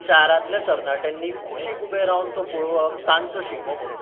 शारांतल्या तरणाट्यांनी कुशीक उबे रावन ते पळोवप 'तांचो 'शिगमो म्हणून.